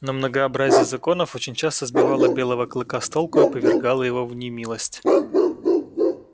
но многообразие законов очень часто сбивало белого клыка с толку и повергало его в немилость